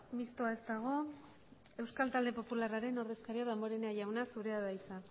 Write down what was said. mistoa ez dago euskal talde popularraren ordezkaria damborenea jauna zurea da hitza